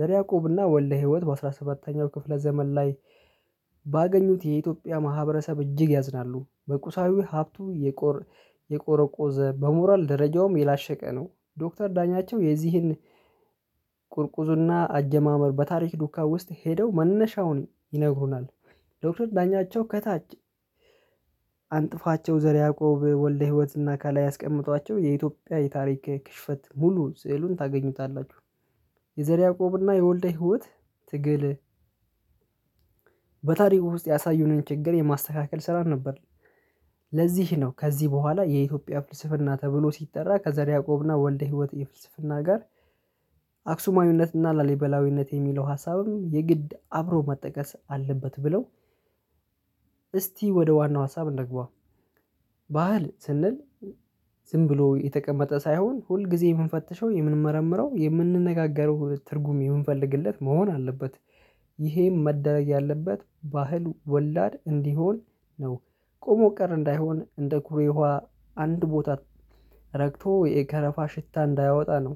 ዘር ያዕቆብና ወልደ ህይወት በአሥራ ሰባተኛው ክፍለ ዘመን ላይ ባገኙት የኢትዮጵያ ማህበረሰብ እጅግ ያዝናሉ በቁሳዊ ሀብቱ። የቆረቆዘ በሞራል ደረጃውም የላሸቀ ነው። ዶክተር ዳኛቸው የዚህን ቁርቁዙና አጀማመር በታሪክ ዱካ ውስጥ ሄደው መነሻውን ይነግሩናል። ዶክተር ዳኛቸው ከታች አንጥፋቸው ዘር ያዕቆብ ወልደ ህይወትና ካላይ ያስቀምጧቸው የኢትዮጵያ የታሪክ ክሽፈት ሙሉ ስዕሉን ታገኙታላችሁ። የዘር ያዕቆብና የወልደ ህይወት ትግል በታሪኩ ውስጥ ያሳዩንን ችግር የማስተካከል ስራ ነበር። ለዚህ ነው ከዚህ በኋላ የኢትዮጵያ ፍልስፍና ተብሎ ሲጠራ ከዘር ያዕቆብና ወልደ ህይወት የፍልስፍና ጋር። አክሱማዊነትና ላሊበላዊነት የሚለው ሀሳብም የግድ አብሮ መጠቀስ አለበት ብለው እስቲ ወደ ዋናው ሀሳብ እንንግባ። ባህል ስንል ዝም ብሎ የተቀመጠ ሳይሆን ሁል ጊዜ የምንፈትሸው የምንመረምረው የምንነጋገረው ትርጉም የምንፈልግለት መሆን አለበት። ይሄም መደረግ ያለበት ባህል ወላድ እንዲሆን ነው። ቆሞ ቀር እንዳይሆን እንደ ኩሬ ውሃ አንድ ቦታ ረግቶ የከረፋ ሽታ እንዳያወጣ ነው።